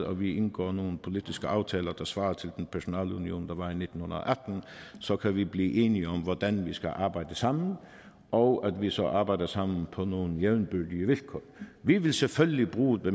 og at vi indgår nogle politiske aftaler der svarer til den personalunion der var en nitten atten så kan vi blive enige om hvordan vi skal arbejde sammen og så arbejder vi sammen på nogle jævnbyrdige vilkår vi vil selvfølgelig bruge de